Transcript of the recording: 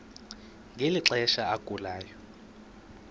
ngeli xesha agulayo